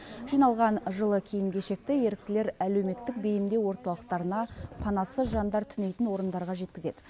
жиналған жылы киім кешекті еріктілер әлеуметтік бейімдеу орталықтарына панасыз жандар түнейтін орындарға жеткізеді